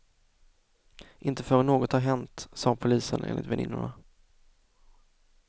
Inte förrän något har hänt, sa polisen enligt väninnorna.